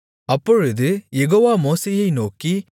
அப்பொழுது யெகோவா மோசேயை நோக்கி